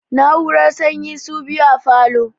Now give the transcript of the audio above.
Na'urar sanyin su biyu a falo